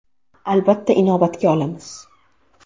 Albatta, inobatga olamiz.